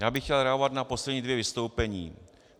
Já bych chtěl reagovat na poslední dvě vystoupení.